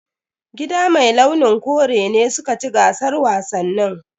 Gida mai launin kore ne suka ci gasar wasannin.